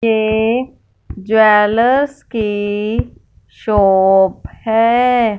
ये ज्वेलर्स की शॉप है।